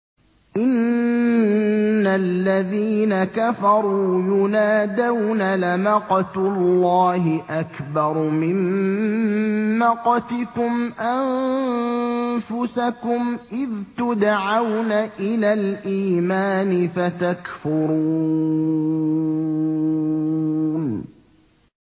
إِنَّ الَّذِينَ كَفَرُوا يُنَادَوْنَ لَمَقْتُ اللَّهِ أَكْبَرُ مِن مَّقْتِكُمْ أَنفُسَكُمْ إِذْ تُدْعَوْنَ إِلَى الْإِيمَانِ فَتَكْفُرُونَ